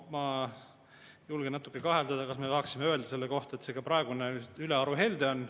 Ma julgen natuke kahelda, kas me ikka saame öelda selle kohta, et see praegune ülearu helde on.